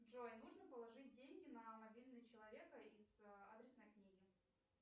джой нужно положить деньги на мобильный человека из адресной книги